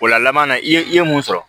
Ola laban na i ye i ye mun sɔrɔ